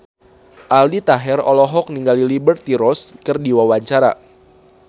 Aldi Taher olohok ningali Liberty Ross keur diwawancara